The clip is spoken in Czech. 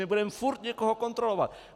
My budeme furt někoho kontrolovat!